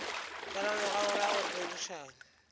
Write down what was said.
ka morago ga go rerišana